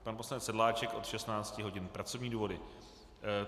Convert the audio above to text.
Pan poslanec Sedláček od 16 hodin - pracovní důvody.